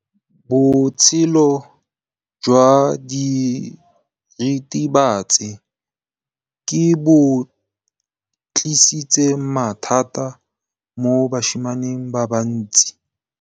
Botshelo jwa diritibatsi ke bo tlisitse mathata mo basimaneng ba bantsi.